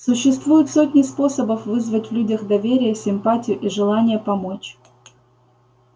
существуют сотни способов вызвать в людях доверие симпатию и желание помочь